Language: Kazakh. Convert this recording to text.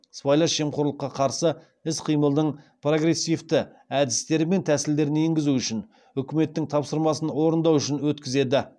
сыбайлас жемқорлыққа қарсы іс қимылдың прогрессивті әдістері мен тәсілдерін енгізу үшін үкіметтің тапсырмасын орындау үшін өткізеді